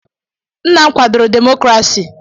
Nna m kwadoro demokrasi.